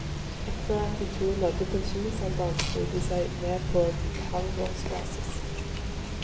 Etterat de to nådde pensjonsalderen slo de seg ned på halvårsbasis.